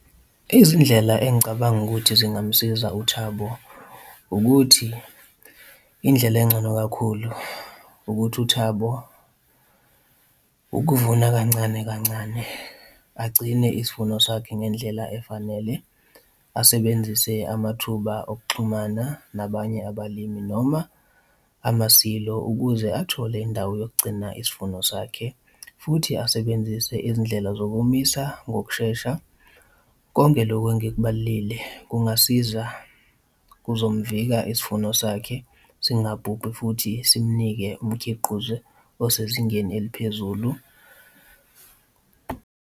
Izindlela engicabanga ukuthi zingamusiza uThabo, ukuthi indlela engcono kakhulu ukuthi uThabo, ukuvuna kancane kancane, agcine isivuno sakhe ngendlela efanele, asebenzise amathuba okuxhumana nabanye abalimi noma amasilo ukuze athole indawo yokugcina isivuno sakhe futhi asebenzise izindlela zokumisa ngokushesha. Konke loku engikubalile kungasiza kuzomvika isivuno sakhe singabhubhi futhi simunike umkhiqizo osezingeni eliphezulu.